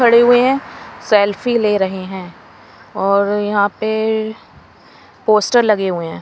खड़े हुए हैं सेल्फी ले रहे हैं और यहाँ पे पोस्टर लगे हुए हैं।